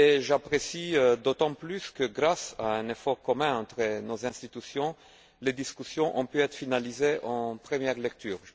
J'apprécie d'autant plus que, grâce à un effort commun entre nos institutions, les discussions aient pu être finalisées en première lecture.